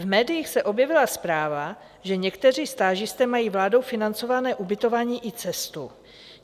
V médiích se objevila zpráva, že někteří stážisté mají vládou financované ubytování i cestu.